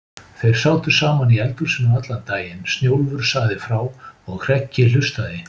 Þeir sátu saman í eldhúsinu allan daginn, Snjólfur sagði frá og Hreggi hlustaði.